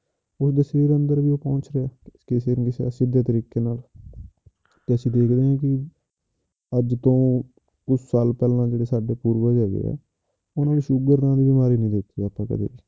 ਉਸਦੇ ਸਰੀਰ ਅੰਦਰ ਵੀ ਉਹ ਪਹੁੰਚ ਰਿਹਾ ਹੈ ਸਿੱਧੇ ਤਰੀਕੇ ਨਾਲ ਤੇ ਅਸੀਂ ਦੇਖ ਰਹੇ ਹਾਂ ਕਿ ਅੱਜ ਤੋਂ ਕੁਛ ਸਾਲ ਪਹਿਲੋਂ ਜਿਹੜੇ ਸਾਡੇ ਪੂਰਵਜ ਹੈਗੇ ਆ, ਉਹਨਾਂ ਨੇ ਸ਼ੂਗਰ ਨਾਂ ਦੀ ਬਿਮਾਰੀ ਨੀ ਦੇਖੀ ਅੱਜ ਤੱਕ ਕਦੇ